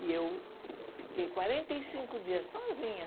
E eu fiquei quarenta e cinco dias sozinha.